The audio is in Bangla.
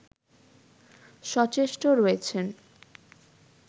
সচেষ্ট রয়েছেন